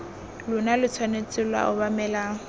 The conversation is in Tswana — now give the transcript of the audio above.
lona lo tshwanetse lwa obamela